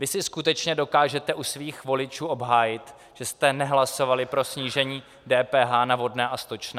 Vy si skutečně dokážete u svých voličů obhájit, že jste nehlasovali pro snížení DPH na vodné a stočné?